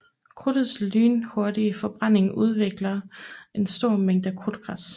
Krudtets lynhurtige forbrænding udvikler en stor mængde krudtgas